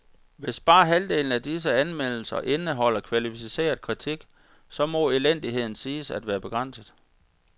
Hvis bare halvdelen af disse anmeldelser indeholder kvalificeret kritik, så må elendigheden siges at være begrænset.